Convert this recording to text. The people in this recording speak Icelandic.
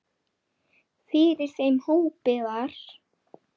Fyrir þeim hópi var